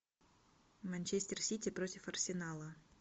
манчестер сити против арсенала